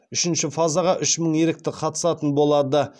үшінші фазаға үш мың ерікті қатысатын болады